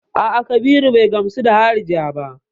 A'a, Kabiru bai gamsu da harija ba.